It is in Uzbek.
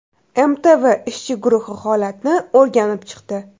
MTV ishchi guruhi holatni o‘rganib chiqdi.